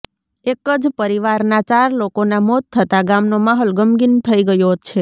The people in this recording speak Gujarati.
એક જ પરિવારના ચાર લોકોના મોત થતા ગામનો માહોલ ગમગીન થઈ ગયો છે